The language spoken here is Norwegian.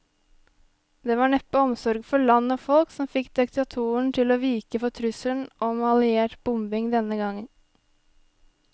Det var neppe omsorg for land og folk som fikk diktatoren til å vike for trusselen om alliert bombing denne gang.